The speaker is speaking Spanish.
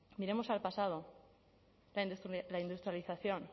miremos al pasado la industrialización